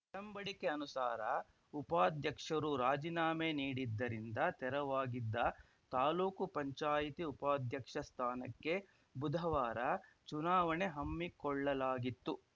ಒಡಂಬಡಿಕೆ ಅನುಸಾರ ಉಪಾಧ್ಯಕ್ಷರು ರಾಜಿನಾಮೆ ನೀಡಿದ್ದರಿಂದ ತೆರವಾಗಿದ್ದ ತಾಲೂಕು ಪಂಚಾಯಿತಿ ಉಪಾಧ್ಯಕ್ಷ ಸ್ಥಾನಕ್ಕೆ ಬುಧವಾರ ಚುನಾವಣೆ ಹಮ್ಮಿಕೊಳ್ಳಲಾಗಿತ್ತು